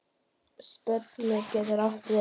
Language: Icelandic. Spölur getur átt við